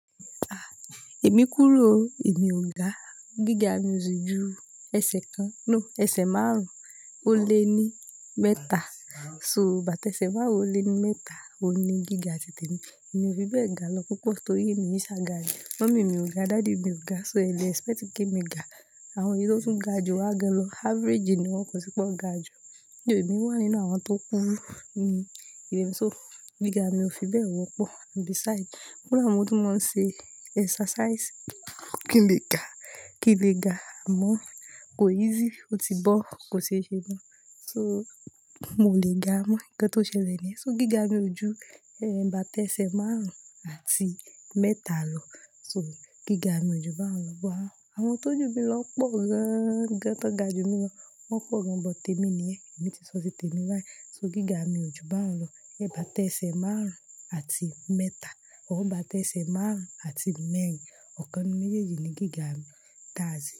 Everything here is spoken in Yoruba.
À, èmi kúrú o, èmi ò ga. Gíga mi ò sì ju ẹsẹ̀ kan, no ẹsẹ̀ márùn-ún ó lé ní mẹ́ta. So bàtẹ́ṣẹ́ márùn-ún ó lé ní mẹ́ta òní gíga titè mi. Èmi ò fi bẹ́ẹ̀ ga lọ púpọ̀ nítorí èmi ń ṣàga rí. Mummy mi ò ga, daddy mi ò ga, so ẹ lè expect kí èmi gá. Àwọn èyí tó tún ga jù wá gan lọ. Average ni wọ́n kọ́ sí i pé ó ga ju. Ni èmi wà nínú àwọn tó kúrú? Hmm, ìrẹ̀nsọ́ gíga mi ò fi bẹ́ẹ̀ wọ́pọ̀. Besides, fúnra mi mó tún máa ń ṣe exercise. Kí n lè ga, kí n lè ga àmọ́, kò easy, ó ti bọ́ kò ṣeéṣe mọ́. So, mo lè ga mọ́ ǹkan tó ṣẹlẹ̀ ni yẹn. So gíga mi ò ju, ẹ́, bàtẹ́ṣẹ́ márùn-ún àti mẹ́ta lọ. So gíga mi ò ju báhun wá Àwọn tó jù mi lọ pọ̀ gan gan tí wọ́n ga jú mí lọ wọ́n pọ̀ gan, but tèmi nìyẹn. Èmi ti sọ ti tèmi báyìí. So gíga mi ju bá wọn lọ. Bíi bàtẹ́ṣẹ́ márùn-ún àti mẹ́ta orí bàtẹ́ṣẹ́ márùn-ún àti mẹ́rin. Ọ̀kan nínú méjèèjì ni gíga mi. That's it.